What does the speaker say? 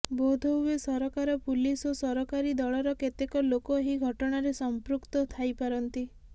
ବୋଧହୁଏ ସରକାର ପୁଲିସ୍ ଓ ସରକାରୀ ଦଳର କେତେକ ଲୋକ ଏହି ଘଟଣାରେ ସଂପୃକ୍ତ ଥାଇପାରନ୍ତି